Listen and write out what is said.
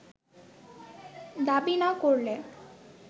দাবি না করলে